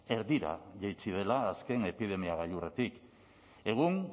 erdira jaitsi dela azken epidemia gailurretik egun